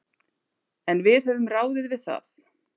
En við höfum ráðið við það.